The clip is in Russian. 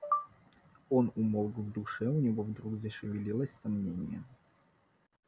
он умолк в душе у него вдруг зашевелилось сомнение